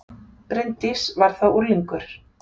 Bryndís var þá unglingur.